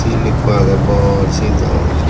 sil ekku agey bor sil degongor.